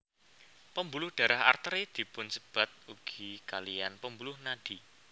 Pembuluh darah Arteri dipunsebat ugi kaliyan pembuluh nadi